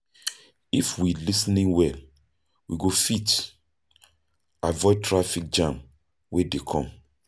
If we lis ten well, we go fit avoid traffic jam wey dey come.